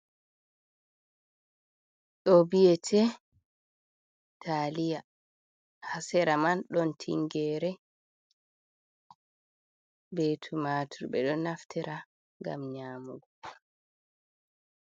Ɗo biyete taliya. Ha sera man ɗon tingere be tumatur. Ɓeɗo naftira ngam nyamugo.